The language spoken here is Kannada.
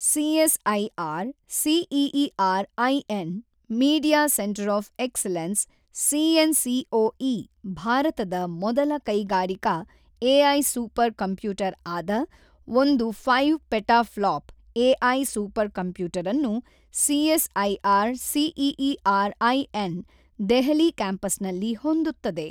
CSIR CEERI Nvidia centre of excellence C N C O E ಭಾರತದ ಮೊದಲ ಕೈಗಾರಿಕಾ ಎಐ ಸೂಪರ್ ಕಂಪ್ಯೂಟರ್ ಆದ ಒಂದು ಫೈವ್ ಪೆಟಾಫ್ಲಾಪ್ ಎಐ ಸೂಪರ್ ಕಂಪ್ಯೂಟರನ್ನು ಸಿಎಸ್ಐಆರ್ ಸಿಇಇಆರ್ ಐ ನ ದೆಹಲಿ ಕ್ಯಾಂಪಸ್ನಲ್ಲಿ ಹೊಂದುತ್ತದೆ.